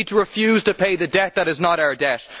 We need to refuse to pay the debt that is not our debt.